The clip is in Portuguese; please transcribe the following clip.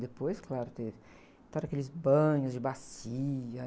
Depois, claro, teve, então eram aqueles banhos de bacia.